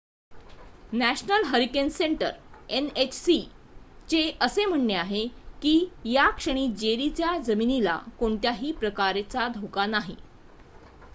national hurricane centre nhc चे असे म्हणणे आहे की या क्षणी जेरीचा जमिनीला कोणत्याही प्रकारचा धोका नाही